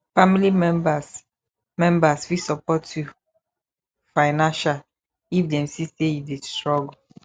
family members members fit support you financial if dem see say you de struggle